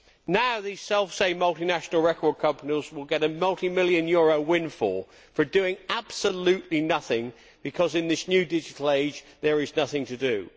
Now these selfsame multinational record companies will get a multi million euro windfall for doing absolutely nothing because, in this new digital age, there is nothing to do.